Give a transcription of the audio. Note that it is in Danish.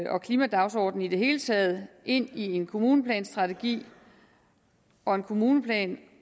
og klimadagsordenen i det hele taget ind i en kommuneplanstrategi og en kommuneplan